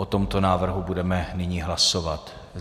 O tomto návrhu budeme nyní hlasovat.